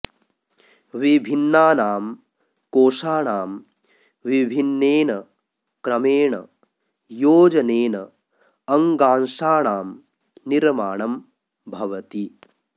विभिन्नानां कोशाणां विभिन्नेन क्रमेण योजनेन अङ्गांशाणां निर्माणं भवति